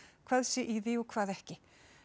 hvað sé í því og hvað ekki